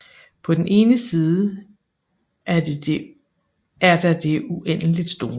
På den ene side er der det uendeligt store